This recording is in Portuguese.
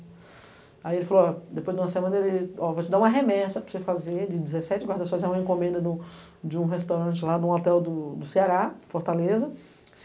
Aí ele falou, ó, depois de uma semana, ele, ó, eu vou te dar uma remessa para você fazer de dezessete guarda-sol, é uma encomenda de um restaurante lá num hotel do Ceará, Fortaleza.